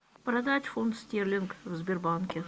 продать фунт стерлинг в сбербанке